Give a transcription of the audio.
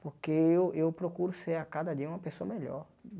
Porque eu eu procuro ser a cada dia uma pessoa melhor.